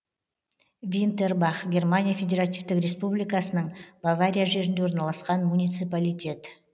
винтербах германия федеративтік республикасының бавария жерінде орналасқан муниципалитет